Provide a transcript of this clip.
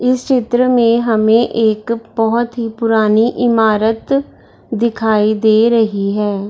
इस चित्र में हमे एक बहोत ही पुरानी इमारत दिखाई दे रही है।